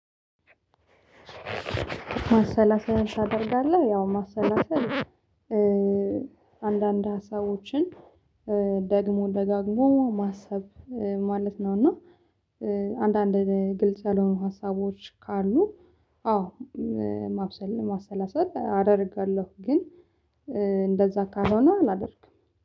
ማሰላሰል ታደርጋለህ ያው ማሰላሰል አንዳንድ ሀሳቦችን ደግሞ ደጋግሞ ማሰብ ማለት ነው። እና አንዳንድ ግልጽ ያልሆኑ ሀሳቦች ካሉ አዎ ማብሰል ማሰላሰል አደርጋለሁ። ግን እንደዛ ካልሆነ አላደርግም